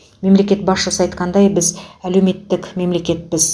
мемлекет басшысы айтқандай біз әлеуметтік мемлекетпіз